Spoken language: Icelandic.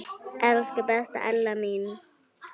Elsku besta Ella amma.